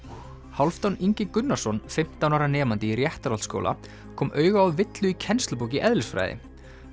Hálfdán Ingi Gunnarsson fimmtán ára nemandi í Réttarholtsskóla kom auga á villu í kennslubók í eðlisfræði